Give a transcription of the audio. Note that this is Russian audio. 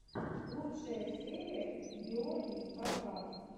лучшая серия георгий кавказ